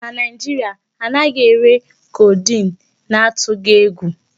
Na Nigeria, ha anaghị ere codeine n'atughi egwu.